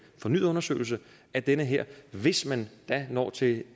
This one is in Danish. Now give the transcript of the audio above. fornyet undersøgelse af det her hvis man da når til